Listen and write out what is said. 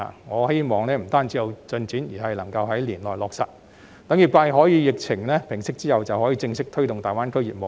我希望此事不僅有進展，而是能夠在今年內落實，讓業界可以在疫情平息後正式推動大灣區業務。